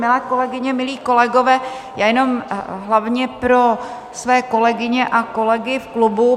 Milé kolegyně, milí kolegové, já jenom hlavně pro své kolegyně a kolegy v klubu.